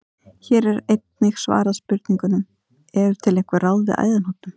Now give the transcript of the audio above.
Hér er einnig svarað spurningunum: Eru til einhver ráð við æðahnútum?